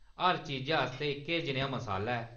हर चीजा आस्तै इक जनेहा मसाला ऐ।